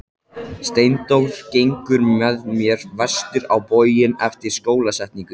Steindór gengur með mér vestur á bóginn eftir skólasetningu.